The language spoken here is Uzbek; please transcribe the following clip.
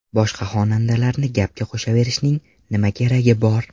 Boshqa xonandalarni gapga qo‘shaverishning nima keragi bor.